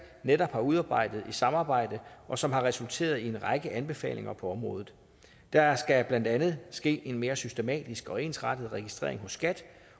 netop har udarbejdet i samarbejde og som har resulteret i en række anbefalinger på området der skal blandt andet ske en mere systematisk og ensrettet registrering hos skat